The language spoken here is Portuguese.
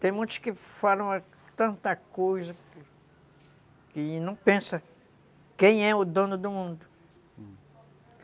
Tem muitos que falam tanta coisa que não pensam quem é o dono do mundo, hum.